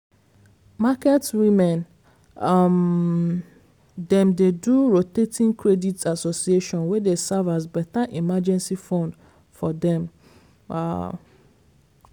market women um dem dey do rotating credit association wey dey serve as better emergency fund for for dem. um